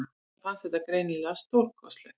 Honum fannst þetta greinilega stórkostlegt.